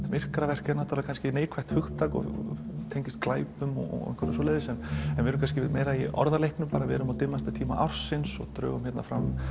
myrkraverk er kannski neikvætt hugtak og tengist glæpum og einhverju svoleiðis en við erum kannski meira í orðaleiknum við erum á dimmasta tíma ársins og drögum fram